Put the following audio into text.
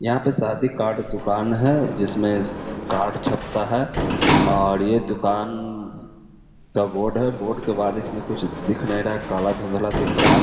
यहां पे शादी कार्ड दुकान है। जिसमें कार्ड छपता है और ये दुकान द बोर्ड है। बोर्ड के बाद इसमें कुछ दिख नहीं रहा है। काला धुंधला दिख रहा है।